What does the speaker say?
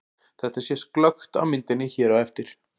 Þetta sést glöggt á myndinni hér á eftir.